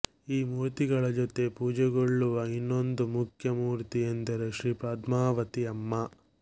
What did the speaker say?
ಈ ಮೂರ್ತಿಗಳ ಜೊತೆ ಪೂಜೆಗೊಳ್ಳುವ ಇನ್ನೊಂದು ಮುಖ್ಯ ಮೂರ್ತಿ ಎಂದರೆ ಶ್ರೀ ಪದ್ಮಾವತಿ ಅಮ್ಮ